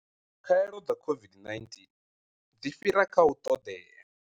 Khaelo dza COVID-19 dzi fhira kha u ṱoḓea.